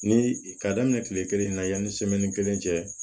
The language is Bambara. Ni ka daminɛ kile kelen na yanni kelen cɛ